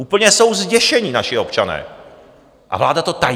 Úplně jsou zděšeni naši občané a vláda to tají.